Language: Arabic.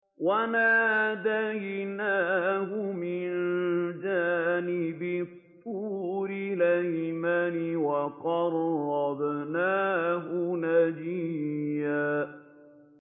وَنَادَيْنَاهُ مِن جَانِبِ الطُّورِ الْأَيْمَنِ وَقَرَّبْنَاهُ نَجِيًّا